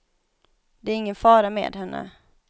Det är ingen fara med henne.